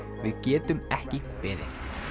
við getum ekki beðið